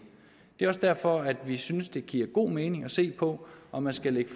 det er også derfor at vi synes at det giver god mening at se på om man skal